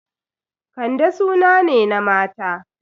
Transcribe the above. Kande suna ne na mata.